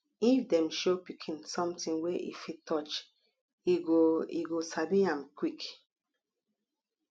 if dem show pikin something wey e fit touch e go e go sabi am quick